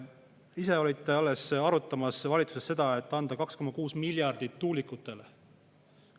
Ise alles arutasite valitsuses seda, et anda 2,5 miljardit tuulikutele.